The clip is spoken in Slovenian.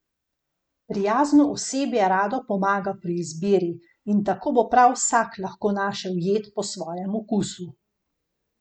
Prijazno osebje rado pomaga pri izbiri in tako bo prav vsak lahko našel jed po svojem okusu.